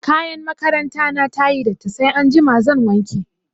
Kayan makaranta na ta yi datti sai anjima zan wanke.